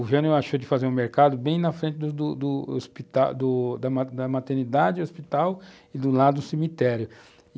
O Jânio achou de fazer o mercado bem na frente do do do hospital, da maternidade hospital e do lado do cemitério, e